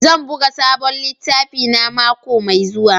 Zan buga sabon littafina mako mai zuwa.